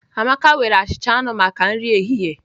Amaka nwere achịcha anụ maka nri ehihie